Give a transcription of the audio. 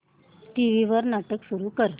TV वर नाटक सुरू कर